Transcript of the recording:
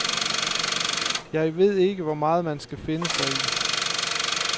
Jeg ved ikke, hvor meget man skal finde sig i.